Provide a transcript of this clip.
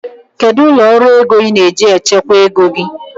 Kedu ụlọ ọrụ ego ị na-eji echekwa ego gị?